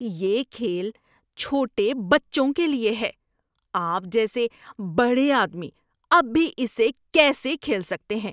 یہ کھیل چھوٹے بچوں کے لیے ہے۔ آپ جیسے بڑے آدمی اب بھی اسے کیسے کھیل سکتے ہیں؟